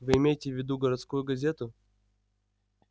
вы имеете в виду городскую газету